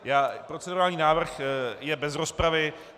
Procedurální návrh je bez rozpravy.